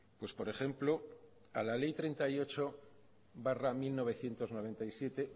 pues por ejemplo a la ley treinta y ocho barra mil novecientos noventa y siete